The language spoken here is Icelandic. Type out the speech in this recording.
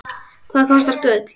Hvað kostar gull?